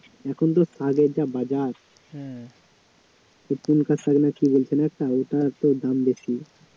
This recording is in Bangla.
এখন তো শাকের যা বাজার কী বলছে না একটা ওটার তো দাম বেশি